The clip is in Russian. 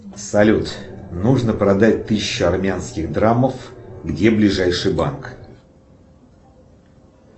салют нужно продать тысячу армянских драмов где ближайший банк